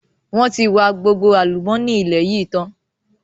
Wọn tí wa gbogbo àlùmọ́nì ilẹ̀ yìí tán.